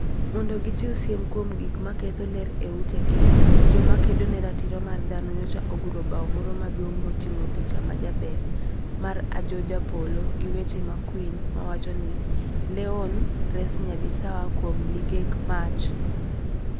Mondo gichiw siem kuom gik ma ketho ler e utegi, joma kedo ne ratiro mar dhano, nyocha oguro bao moro maduong ' moting'o picha ma jaber mar Ajoh Japolo, gi weche makwiny mawacho ni: "Leon, res Nyabisawa kuom ligek mach! â€" gi